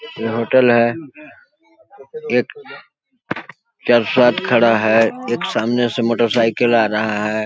ये होटल है एक चार साथ खड़ा है एक सामने से मोटरसाइकिल आ रहा है।